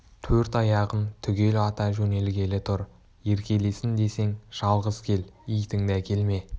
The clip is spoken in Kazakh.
төрт аяғым түгел ата жөнелгелі тұр еркелесін десең жалғыз кел итіңді әкелме